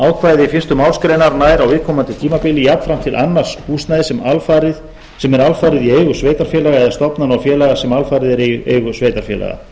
ákvæði fyrstu málsgreinar nær á viðkomandi tímabili jafnframt til annars húsnæðis sem er alfarið í eigu sveitarfélaga eða stofnana og félaga sem alfarið eru í eigu sveitarfélaga